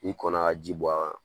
N'i kɔn na ka ji bɔn a kan